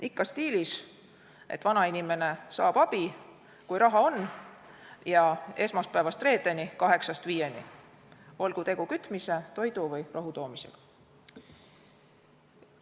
Ikka stiilis, et vana inimene saab abi, kui raha on, ja esmaspäevast reedeni kaheksast viieni, olgu tegu kütmise, toidu või rohutoomisega.